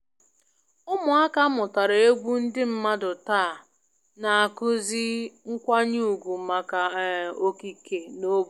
Ụmụaka mụtara egwu ndị mmadụ taa na-akụzi nkwanye ùgwù maka um okike na obodo